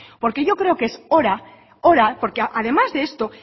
yo creo que es hora porque además de esto